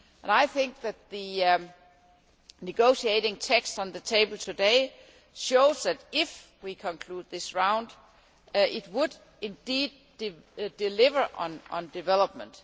I think that the negotiating text on the table today shows that, if we conclude this round, it would indeed deliver on development.